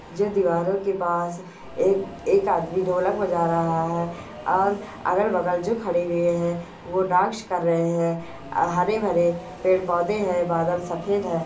जो दिवारो के पास ए एक आदमी ढोलक बजा रहा है और अगल बगल जो खड़े हुए है वो डांस कर रहे है अ हरे भरे पेड़ पौधे है बादल सफ़ेद है।